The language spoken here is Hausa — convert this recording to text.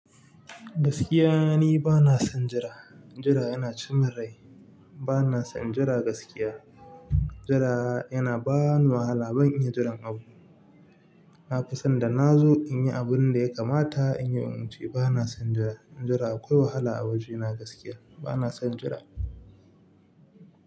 Gaskiya ni bana son jira, jira yana ci mun rai bana son jira gaskiya. Jira yana bani wahala ban iya jiran abu. Na fi son da na zo in yi abun da ya kamata in yi in wuce. Bana son jira. Jira akwai wahala a wajena gaskiya. Bana son jira.